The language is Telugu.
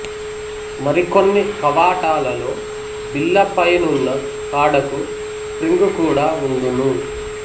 మరికొన్ని కవాటాలలో బిళ్ళ పైనున్న కాడకు స్ప్రింగు కూడా వుండును